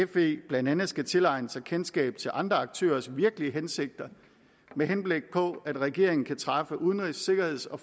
fe blandt andet skal tilegne sig kendskab til andre aktørers virkelige hensigter med henblik på at regeringen kan træffe udenrigs sikkerheds og